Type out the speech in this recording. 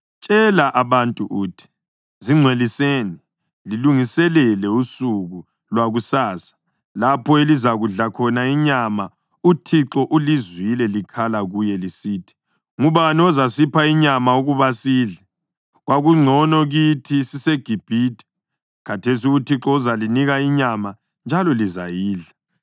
Tshela abantu uthi: Zingcweliseni lilungiselela usuku lwakusasa, lapho elizakudla khona inyama. UThixo ulizwile likhala kuye lisithi, ‘Ngubani ozasipha inyama ukuba sidle? Kwakungcono kithi siseGibhithe!’ Khathesi uThixo uzalinika inyama, njalo lizayidla.